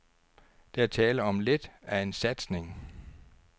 Der er tale om lidt af en satsning.